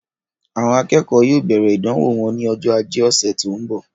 Àwọn akẹ́kọ̀ọ́ yóò bẹ̀rẹ̀ ìdánwò wọn ní ọjọ́ ajé ọ̀sẹ̀ tó ń bọ̀.